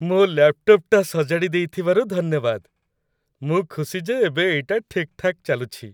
ମୋ' ଲ୍ୟାପ୍‌ଟପ୍‌ଟା ସଜାଡ଼ି ଦେଇଥିବାରୁ ଧନ୍ୟବାଦ । ମୁଁ ଖୁସି ଯେ ଏବେ ଏଇଟା ଠିକ୍‌ଠାକ୍ ଚାଲୁଛି ।